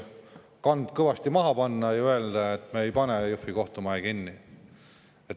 – kand kõvasti maha panna ja öelda, et me ei pane Jõhvi kohtumaja kinni.